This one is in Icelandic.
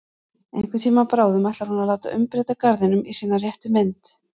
Einhvern tíma bráðum ætlar hún að láta umbreyta garðinum í sína réttu mynd.